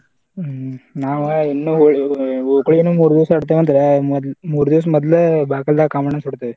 ಹ್ಮ್‌ ನಾವ ಇನ್ನು ಹೋಳಿ ಓಕಳಿನು ಮೂರ ದಿವಸ ಆಡ್ತೇವಂತ ಮೂರ ದಿವಸ ಮದ್ಲ ಬಾಗಲ್ಲಾಗ ಕಾಮಣ್ಣಾ ಸುಡ್ತೇವ.